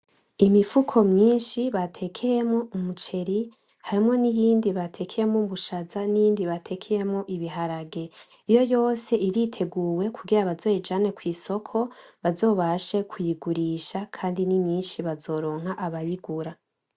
Imifuko myinshi batekeyemwo umuceri hamwe n’iyindi batekeyemwo ubushaza n'iyindi batekeyemwo ibiharage, iyo yose iriteguwe kugira bazoyijane kw’isoko bazobashe kuyigurisha kandi ni myinshi bazoronka abayigura.